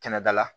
Kɛnɛdala